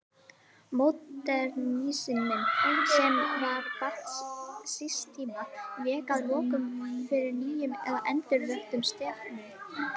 Módernisminn, sem var barn síns tíma, vék að lokum fyrir nýjum eða endurvöktum stefnum.